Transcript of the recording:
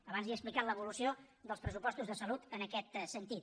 abans li he explicat l’evolució dels pressupostos de salut en aquest sentit